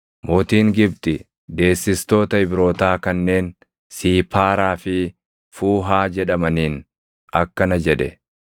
Mootiin Gibxi deessistoota Ibrootaa kanneen Siipaaraa fi Fuuhaa jedhamaniin akkana jedhe;